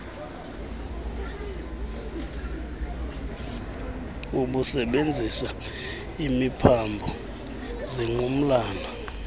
obusebenzisa imiphambo zingqumlana